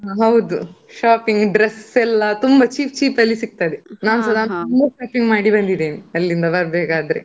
ಹೌದು shopping dress ಎಲ್ಲಾ ತುಂಬಾ cheap cheap ಅಲ್ಲಿ ಸಿಕ್ತದೆ. ತುಂಬಾ shopping ಮಾಡಿ ಬಂದಿದೇನೆ ಅಲ್ಲಿಂದ ಬರ್ಬೇಕಾದ್ರೆ.